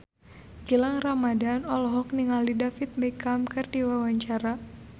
Gilang Ramadan olohok ningali David Beckham keur diwawancara